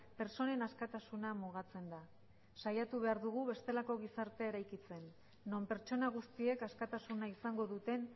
pertsonen askatasuna mugatzen da saiatu behar dugu bestelako gizartea eraikitzen non pertsona guztiek askatasuna izango duten